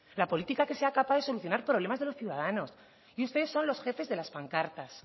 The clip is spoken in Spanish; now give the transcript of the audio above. la política que sea capaz de solucionar problemas de los ciudadanos y ustedes son los jefes de las pancartas